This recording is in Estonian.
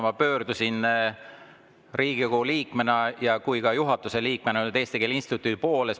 Ma pöördusin Riigikogu liikmena ja ka juhatuse liikmena Eesti Keele Instituudi poole.